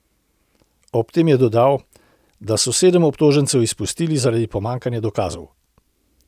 Ob tem je dodal, da so sedem obtožencev izpustili zaradi pomanjkanja dokazov.